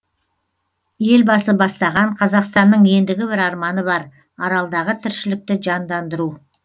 елбасы бастаған қазақстанның ендігі бір арманы бар аралдағы тіршілікті жандандыру